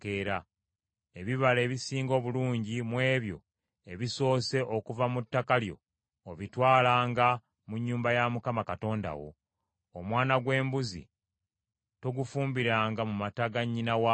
“Ebibala ebisinga obulungi mu ebyo ebisoose okuva mu ttaka lyo obitwalanga mu nnyumba ya Mukama Katonda wo. “Omwana gw’embuzi togufumbiranga mu mata ga nnyina waagwo.”